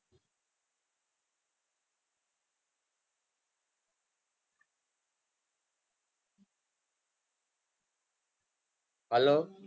hello